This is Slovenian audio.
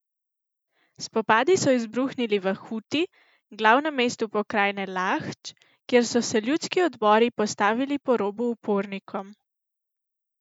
Spopadi so izbruhnili v Huti, glavnem mestu pokrajine Lahdž, kjer so se ljudski odbori postavili po robu upornikom.